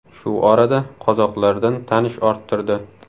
Shu orada qozoqlardan tanish orttirdi.